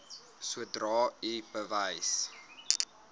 sodra u bewus